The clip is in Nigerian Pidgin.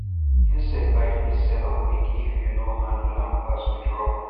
insect bite fit sell up quick if you no handle am fast with rub